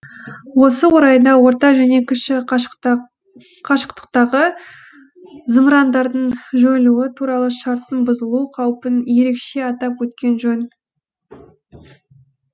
осы орайда орта және кіші қашықтықтағы зымырандардың жойылуы туралы шарттың бұзылу қаупін ерекше атап өткен жөн